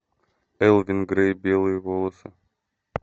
элвин грей белые волосы